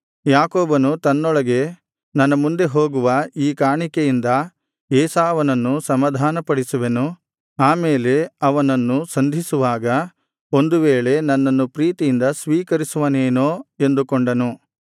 ಯಾಕೋಬನು ತನ್ನೊಳಗೆ ನನ್ನ ಮುಂದೆ ಹೋಗುವ ಈ ಕಾಣಿಕೆಯಿಂದ ಏಸಾವನನ್ನು ಸಮಾಧಾನಪಡಿಸುವೆನು ಆಮೇಲೆ ಅವನನ್ನು ಸಂಧಿಸುವಾಗ ಒಂದು ವೇಳೆ ನನ್ನನ್ನು ಪ್ರೀತಿಯಿಂದ ಸ್ವೀಕರಿಸುವನೇನೋ ಎಂದುಕೊಂಡನು